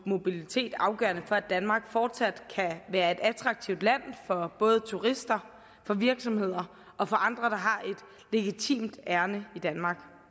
mobilitet afgørende for at danmark fortsat kan være et attraktivt land for både turister for virksomheder og for andre der har et legitimt ærinde i danmark